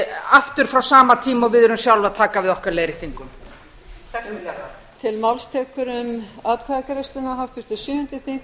aftur frá sama tíma og við erum sjálf að taka við okkar leiðréttingum sex milljarðar